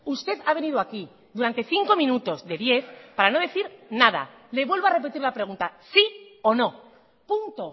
usted ha venido aquí durante cinco minutos de diez para no decir nada le vuelvo a repetir la pregunta sí o no punto